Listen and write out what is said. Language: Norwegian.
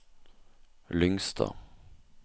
Lyngstad